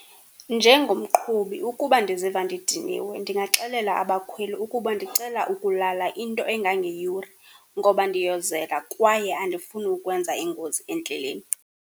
Njengomqhubi ukuba ndiziva ndidiniwe ndingaxelela abakhweli ukuba ndicela ukulala into engangeyure, ngoba ndiyozela kwaye andifuni ukwenza ingozi endleleni.